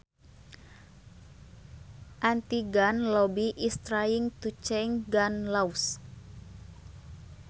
anti gun lobby is trying to change gun laws